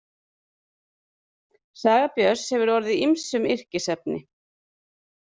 Saga Björns hefur orðið ýmsum yrkisefni.